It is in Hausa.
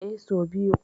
Eh, so biyu.